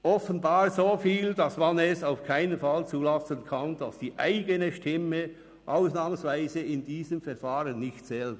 – Offenbar so viel, dass man es auf keinen Fall zulassen kann, dass die eigene Stimme in diesem Verfahren ausnahmsweise nicht zählt.